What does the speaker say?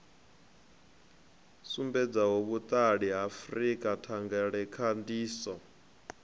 sumbedzaho vhuṱali ha frika thangelakhandiso